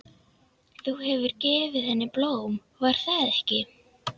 Þú hefur gefið henni blóm, var það ekki?